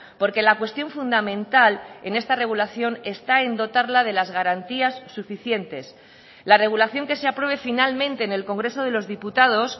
porque la cuestión fundamental en esta regulación está en dotarla de las garantías suficientes la regulación que se apruebe finalmente en el congreso de los diputados